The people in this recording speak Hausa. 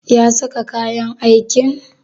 Ya saka kayan aikin?